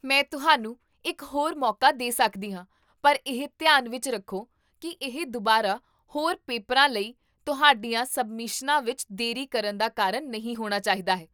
ਮੈਂ ਤੁਹਾਨੂੰ ਇੱਕ ਹੋਰ ਮੌਕਾ ਦੇ ਸਕਦੀ ਹਾਂ, ਪਰ ਇਹ ਧਿਆਨ ਵਿੱਚ ਰੱਖੋ ਕੀ ਇਹ ਦੁਬਾਰਾ ਹੋਰ ਪੇਪਰਾਂ ਲਈ ਤੁਹਾਡੀਆਂ ਸਬਮਿਸ਼ਨਾਂ ਵਿੱਚ ਦੇਰੀ ਕਰਨ ਦਾ ਕਾਰਨ ਨਹੀਂ ਹੋਣਾ ਚਾਹੀਦਾ ਹੈ